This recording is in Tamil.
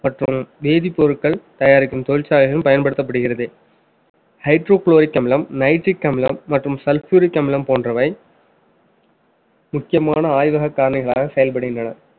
மற்றும் வேதிப்பொருட்கள் தயாரிக்கும் தொழிற்சாலைகளும் பயன்படுத்தப்படுகிறது. hydrochloric அமிலம் nitric அமிலம் மற்றும் sulfuric அமிலம் போன்றவை முக்கியமான ஆய்வக காரணிகளாக செயல்படுகின்றன.